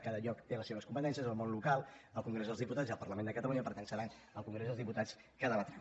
cada lloc té les seves competències el món local el congrés dels diputats i el parlament de catalunya per tant serà al congrés dels diputats que ho debatran